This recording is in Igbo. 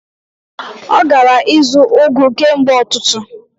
Ọ gara ịzụ ugu kemgbe ụtụtụ.